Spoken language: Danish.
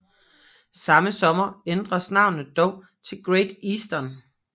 Samme sommer ændredes navnet dog til Great Eastern